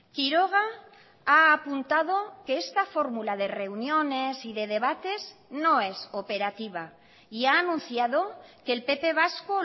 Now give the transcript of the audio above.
quiroga ha apuntado que esta fórmula de reuniones y de debates no es operativa y ha anunciado que el pp vasco